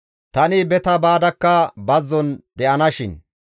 Tani beta baadakka bazzon de7ana shin.